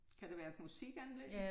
Kan det være et musikanlæg?